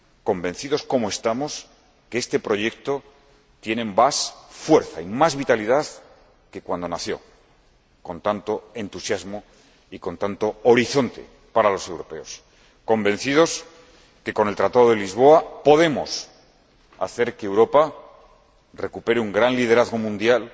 convencidos como estamos de que este proyecto tiene más fuerza y más vitalidad que cuando nació, con tanto entusiasmo y con tanto horizonte para los europeos, convencidos de que, con el Tratado de Lisboa, podemos hacer que Europa recupere un gran liderazgo mundial